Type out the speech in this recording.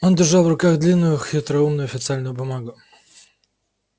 он держал в руках длинную хитроумную официальную бумагу